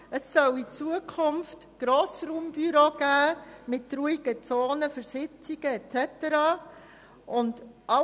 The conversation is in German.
Es soll in Zukunft Grossraumbüros geben mit ruhigen Zonen für Sitzungen uns so weiter.